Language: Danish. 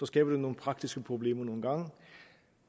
skaber nogle praktiske problemer